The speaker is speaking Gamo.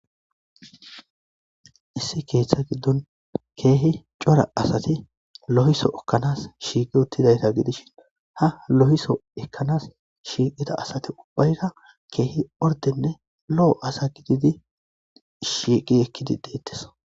Issi keeththa giddon keehi cora asati lohiso ekkanas shiiqi uttidayta gidishin ha lo'iso ekkanas shiiqida asati ubbayra keehi ordenne lo'o asa gididi shiiqi ekkidi deetteso.